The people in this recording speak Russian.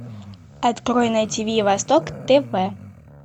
открой на тиви восток тв